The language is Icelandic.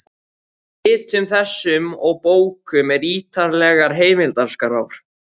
Í ritum þessum og bókum eru ýtarlegar heimildaskrár.